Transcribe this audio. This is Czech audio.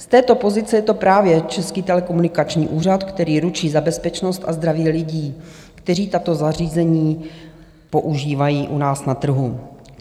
Z této pozice je to právě Český telekomunikační úřad, který ručí za bezpečnost a zdraví lidí, kteří tato zařízení používají u nás na trhu.